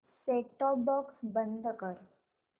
set top box बंद कर